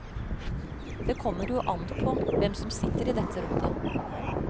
Det kommer jo an påhvem som sitter i dette rådet.